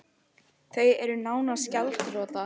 Þau eru nánast gjaldþrota